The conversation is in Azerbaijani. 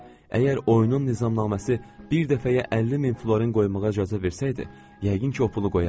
Əgər oyunun nizamnaməsi bir dəfəyə 50 min florin qoymağa icazə versəydi, yəqin ki, o pulu qoyardım.